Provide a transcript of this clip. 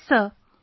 Yes sir